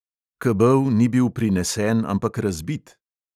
Kebel ni bil prinesen, ampak razbit.